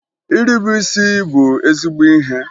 Irube isi bụ ezigbo ihe